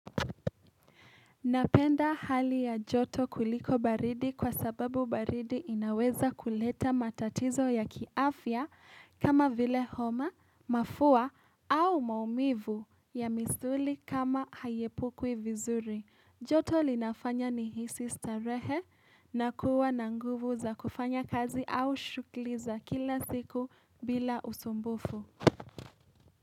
Napenda hali ya joto kuliko baridi kwa sababu baridi inaweza kuleta matatizo ya kiafya kama vile homa, mafua au maumivu ya misuli kama hayepukwi vizuri. Joto linafanya ni hisi starehe na kuwa na nguvu za kufanya kazi au shughuli za kila siku bila usumbufu.